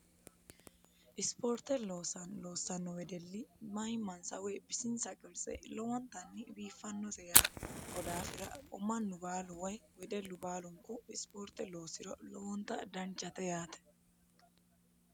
ispoorte loosanno loossanno wedelli mayimmansa woy bisinsa qirtse lowontanni biiffannose yaate ko daafira mannu baalu way wedellu baalunku isipoorte loosiro lowonta danchate yaate